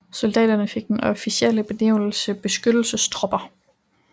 Soldaterne fik den officielle benævnelse beskyttelsestropper